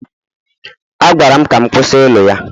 A gwara m ka m kwụsị ịlụ ya